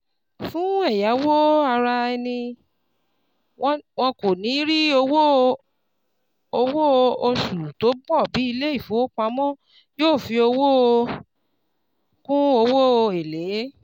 Fún ẹ̀yáwó ara-ẹni, wọn kò níí rí owó owó oṣù tó pọ̀ bí ilé-ìfowópamọ́ yóò fi owó kún owó èlé.